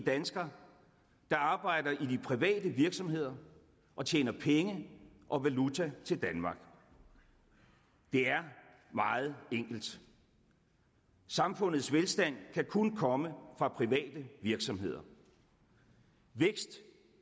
danskere der arbejder i de private virksomheder og tjener penge og valuta til danmark det er meget enkelt samfundets velstand kan kun komme fra private virksomheder vækst